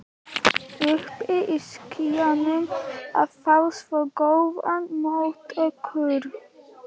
Uppi í skýjunum að fá svona góðar móttökur.